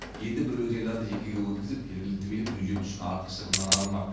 енді бөбекжайларды жекеге өткізіп жергілікті билік бюджет үшін артық шығыннан арылмақ